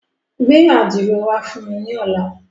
Gbẹ ạdiro wa fun mi ni ọla.